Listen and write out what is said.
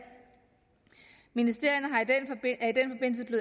ministerierne